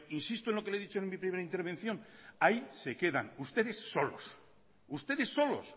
insisto en lo que le e dicho en mi primera intervención ahí se quedan ustedes solos ustedes solos